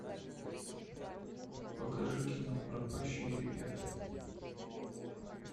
покажи кино пропащие ребята